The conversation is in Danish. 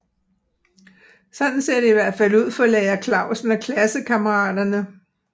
Sådan ser det i hvert fald ud for Lærer Clausen og klassekammeraterne